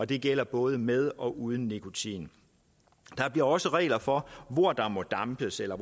det gælder både med og uden nikotin der bliver også regler for hvor der må dampes eller